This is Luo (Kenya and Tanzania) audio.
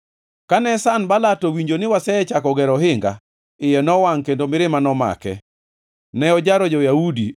Kane Sanbalat owinjo ni wasechako gero ohinga, iye nowangʼ kendo mirima nomake. Ne ojaro jo-Yahudi,